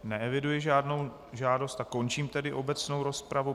Neeviduji žádnou žádost a končím tedy obecnou rozpravu.